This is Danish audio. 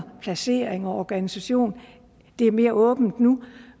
placering og organisation det er mere åbent nu